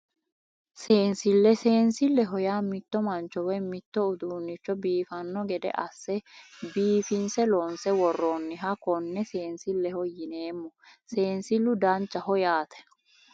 Seensille seensilleho yaa mitto mancho woyi mitto uduunnicho biifanno gede asse biifinse loonse worronniha konne seensilleho yineemmo seensillu danchaho yaate